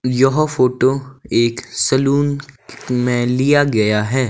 यह फोटो एक सैलून में लिया गया है।